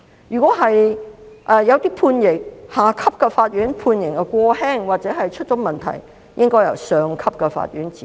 如果下級法院判刑過輕或出了問題，便應該由上級法院指正。